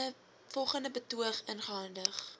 volgende betoog ingehandig